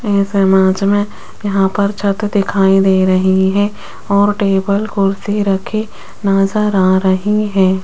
इस इमेज में यहां पर छत दिखाई दे रही है और टेबल कुर्सी रखें नजर आ रही है।